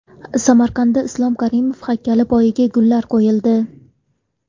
Samarqandda Islom Karimov haykali poyiga gullar qo‘yildi.